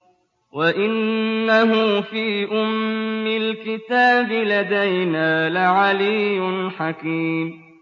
وَإِنَّهُ فِي أُمِّ الْكِتَابِ لَدَيْنَا لَعَلِيٌّ حَكِيمٌ